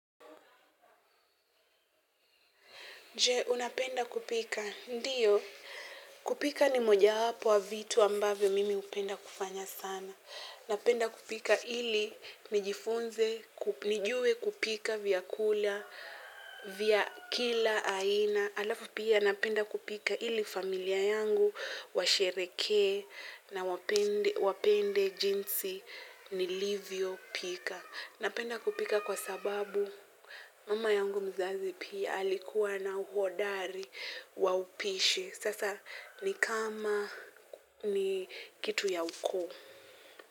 Je, unapenda kupika? Ndiyo. Kupika ni mojawapo wa vitu ambavyo mimi hupenda kufanya sana. Napenda kupika ili nijifunze, nijue kupika vyakula vya kila aina. Alafu pia, napenda kupika ili familia yangu, washerehekee, na wapende jinsi nilivyopika. Napenda kupika kwa sababu mama yangu mzazi pia alikuwa na uhodari wa upishi. Sasa ni kama ni kitu ya ukoo.